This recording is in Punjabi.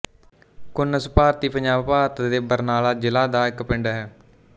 ਘੁਨਸ ਭਾਰਤੀ ਪੰਜਾਬ ਭਾਰਤ ਦੇ ਬਰਨਾਲਾ ਜ਼ਿਲ੍ਹਾ ਦਾ ਇੱਕ ਪਿੰਡ ਹੈ